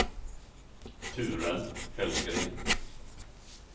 Ture Hellgren